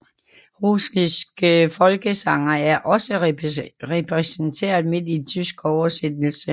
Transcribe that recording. Russiske folkesange er også repræsenteret men i tysk oversættelse